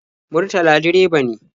Murtala direba ne.